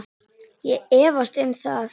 Ég efast um það.